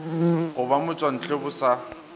go ba motšwantle bo sa